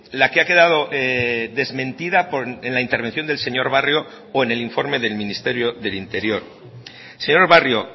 la que ha quedado desmentida en la intervención del señor barrio o en el informe del ministerio del interior señor barrio